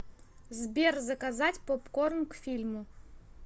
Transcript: сбер заказать попкорн к фильму